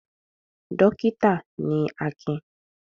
Dọ́kítá ni Akin.